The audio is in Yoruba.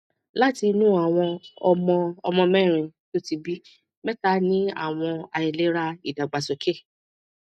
láti inú àwọn ọmọ ọmọ mérin tó ti bí mẹta ní àwọn àìlera idagbasoke